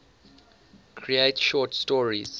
create short stories